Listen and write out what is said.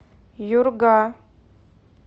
юрга